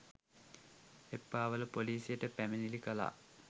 එප්පාවල පොලිසියට පැමිණිලි කළා